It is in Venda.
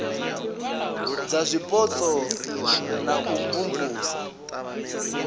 dza zwipotso na u imvumvusa